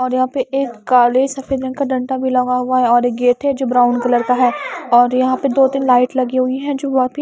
और यहां पे एक काले सफेद रंग का डंटा भी लगा हुआ है और एक गेट है जो ब्राउन कलर का है और यहां पे दो-तीन लाइट लगी हुई है जो बहोत ही --